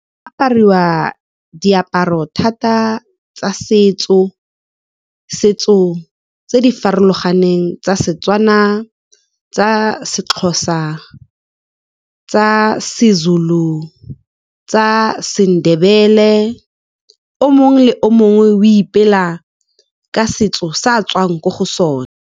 Apariwa diaparo thata tsa setso, setso tse di farologaneng tsa Setswana, tsa seXhosa, tsa seZulu, tsa seNdebele. O mongwe le mongwe o ipela ka setso sa a tswang ko go sone.